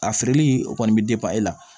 A feereli o kɔni bɛ e la